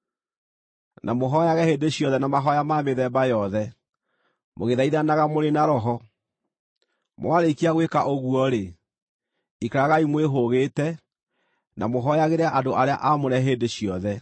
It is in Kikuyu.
Na mũhooyage hĩndĩ ciothe na mahooya ma mĩthemba yothe, mũgĩthaithanaga mũrĩ na Roho. Mwarĩkia gwĩka ũguo-rĩ, ikaragai mwĩhũgĩte, na mũhooyagĩre andũ arĩa aamũre hĩndĩ ciothe.